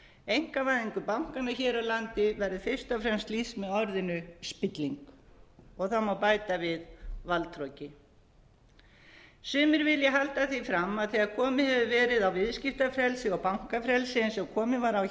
einkavæðingu bankanna hér á landi verður fyrst og fremst lýst með orðinu spilling og það má bæta við valdhroki sumri vilja halda því fram að þegar komið hefur verið á viðskiptafrelsi og bankafrelsi eins og komið var á